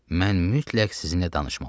Mən mütləq sizinlə danışmalıyam.